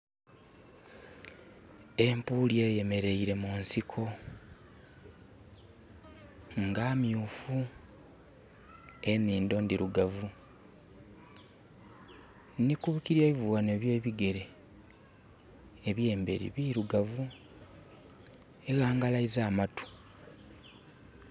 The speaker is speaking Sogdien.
Empuuli eyemereire munsiko nga myufu. Enindho ndirugavu. Ndikukireivu wano owe bigere, ebyemberi birugavu. Ewangalaiza amatu